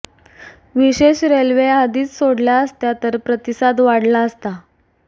विशेष रेल्वे आधीच सोडल्या असत्या तर प्रतिसाद वाढला असता